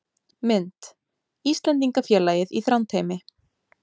Mynd: Íslendingafélagið í Þrándheimi